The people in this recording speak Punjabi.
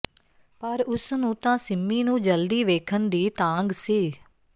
ਪਰ ਉਸ ਨੂੰ ਤਾਂ ਸਿੰਮੀ ਨੂੰ ਜਲਦੀ ਵੇਖਣ ਦੀ ਤਾਂਘ ਸੀ